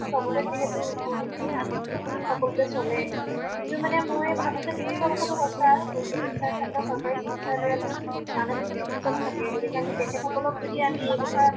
চবতে সিহেতু ইমান সকলোতে চলে, কিন্তু মানে মই ভাবো যে তুমি কোৱা কথাটো সঁচা। চিকিৎসাৰ খন্ডত চৰকাৰী চিকিৎসালয়তো মানসিক চিকিৎসক থাকে । গতিকে আমি তেখেত সকলক যদি আমি এই কথা